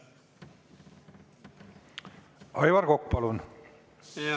Aivar Kokk, palun!